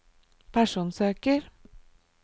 personsøker